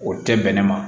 O tɛ bɛnɛ ma